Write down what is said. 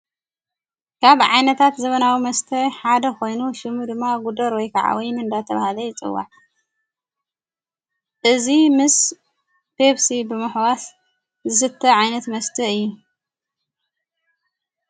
ካብ ዓይነታት ዘበናዊ መስተዕሓደ ኾይኑ ሽሙ ድማ ጕደር ወይ ከዓ ወይን እንዳ ተብሃለ ይጽዋዕ እዙ ምስ ፐብሲ ብምኅዋስ ዝስተ ዓይነት መስቲ እዩ፡፡